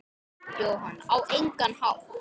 Jóhann: Á engan hátt?